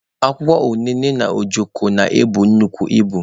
Akwụkwọ unene na ojoko na-ebu nnukwu ibu.